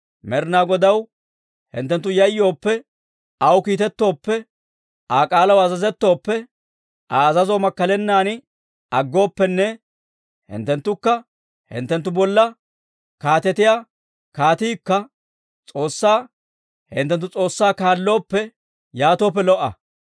Med'inaa Godaw hinttenttu yayyooppe, aw kiitettooppe, Aa k'aalaw azazettooppe, Aa azazoo makkalennan aggooppenne hinttenttukka hinttenttu bolla kaatetiyaa kaatiikka S'oossaa hinttenttu S'oossaa kaallooppe, yaatooppe lo"a.